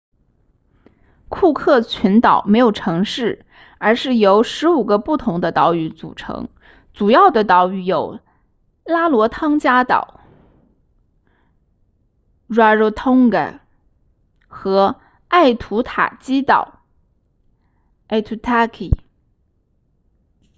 库克群岛没有城市而是由15个不同的岛屿组成主要的岛屿有拉罗汤加岛 rarotonga 和艾图塔基岛 aitutaki